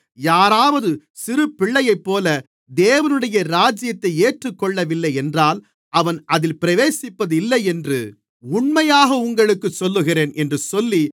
யாராவது சிறு பிள்ளையைப்போல தேவனுடைய ராஜ்யத்தை ஏற்றுக்கொள்ளவில்லை என்றால் அவன் அதில் பிரவேசிப்பதில்லை என்று உண்மையாகவே உங்களுக்குச் சொல்லுகிறேன் என்று சொல்லி